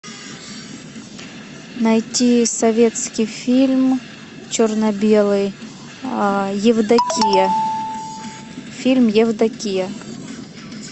найти советский фильм черно белый евдокия фильм евдокия